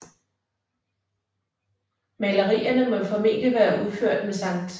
Malerierne må formentlig være udført med Skt